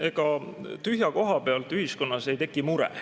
Ega tühja koha pealt ühiskonnas mure ei teki.